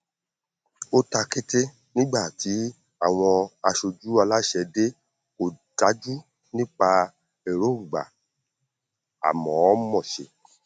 ó ta kété nígbà tí àwọn aṣojú aláṣẹ dé kò dájú nípa èròngbà àmọọmọ ṣe